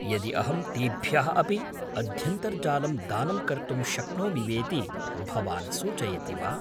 यदि अहं तेभ्यः अपि अध्यन्तर्जालं दानं कर्तुं शक्नोमि वेति भवान् सूचयति वा?